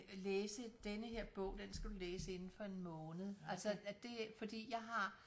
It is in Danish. Læse denne her bog den skal du læse inden for en måned altså det fordi jeg har